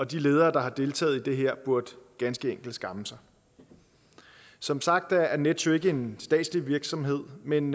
de ledere der har deltaget i det her burde ganske enkelt skamme sig som sagt er nets jo ikke en statslig virksomhed men